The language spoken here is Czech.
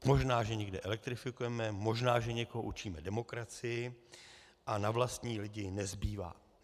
Možná že někde elektrifikujeme, možná že někoho učíme demokracii, a na vlastní lidi nezbývá.